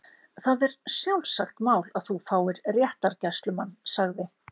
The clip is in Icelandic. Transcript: Það er sjálfsagt mál að þú fáir réttargæslumann sagði